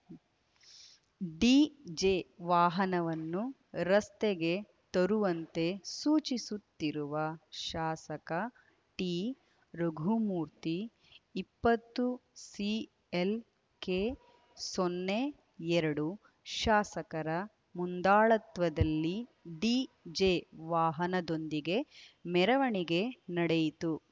DJ ವಾಹನವನ್ನು ರಸ್ತೆಗೆ ತರುವಂತೆ ಸೂಚಿಸುತ್ತಿರುವ ಶಾಸಕ ಟಿರಘುಮೂರ್ತಿ ಇಪ್ಪತ್ತು ಸಿಎಲ್‌ಕೆ ಸೊನ್ನೆ ಎರಡು ಶಾಸಕರ ಮುಂದಾಳತ್ವದಲ್ಲಿ ಡಿಜೆ ವಾಹನದೊಂದಿಗೆ ಮೆರವಣಿಗೆ ನಡೆಯಿತು